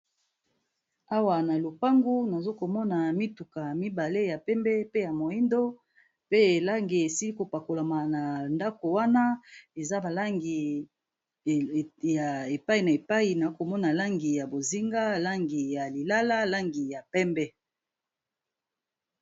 Awa na lopango na zo ko mona mituka mibale ya pembe pe ya moyindo pe langi esili ko pakolama na ndaku wana. Eza ba langi ya epayi na bipayi, nako mona langi ya bozinga, langi ya lilala, langi ya pembe.